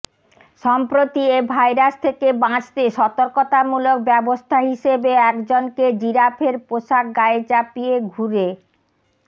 সম্প্রতি এ ভাইরাস থেকে বাঁচতে সতর্কতামূলক ব্যবস্থা হিসেবে একজনকে জিরাফের পোশাক গায়ে চাপিয়ে ঘুরে